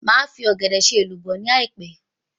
Màá fi Ọ̀gẹ̀dẹ̀ ṣe èlùbọ́ ni àìpẹ́